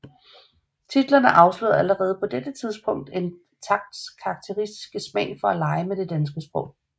Titlerne afslørede allerede på dette tidspunkt Entakts karakteristiske smag for at lege med det danske sprog